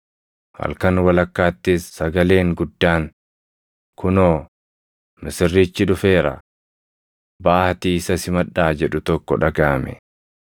“Halkan walakkaattis sagaleen guddaan, ‘Kunoo, misirrichi dhufeera! Baʼaatii isa simadhaa!’ jedhu tokko dhagaʼame.